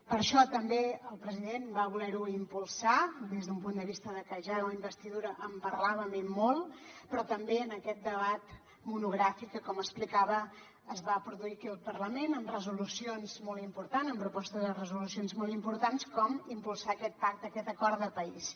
per això també el president va voler ho impulsar des d’un punt de vista de que ja de la investidura en parlàvem i molt però també en aquest debat monogràfic com explicava es va produir aquí al parlament amb resolucions molt importants amb propostes de resolucions molt importants com impulsar aquest pacte aquest acord de país